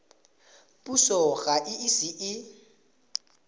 puso ga e ise e